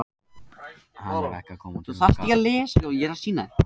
Hann er ekki að koma til okkar.